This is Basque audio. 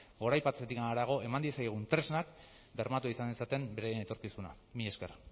goraipatzetik harago eman diezaiogun tresnak bermatua izan dezaten beraien etorkizuna mila esker